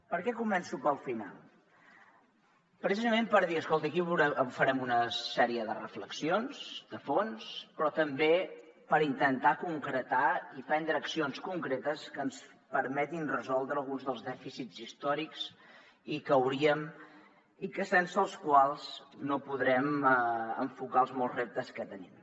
per què començo pel final precisament per dir escolti aquí farem una sèrie de reflexions de fons però també per intentar concretar i prendre accions concretes que ens permetin resoldre alguns dels dèficits històrics sense els quals no podrem enfocar els molts reptes que tenim